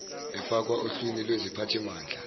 efakwa ohlwni lweziphathimandla